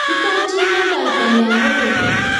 kitochin eng kaitanyo kokeny